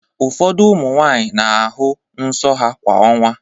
Ụfọdụ ụmụ nwaanyị na-ahụ nsọ kwa ọnwa.